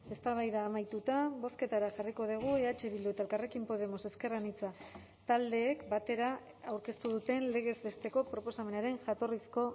eztabaida amaituta bozketara jarriko dugu eh bildu eta elkarrekin podemos ezker anitza taldeek batera aurkeztu duten legez besteko proposamenaren jatorrizko